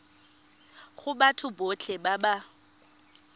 go batho botlhe ba ba